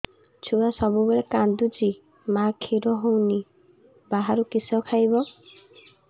ଛୁଆ ସବୁବେଳେ କାନ୍ଦୁଚି ମା ଖିର ହଉନି ବାହାରୁ କିଷ ଖାଇବ